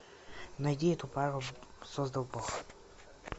найди эту пару создал бог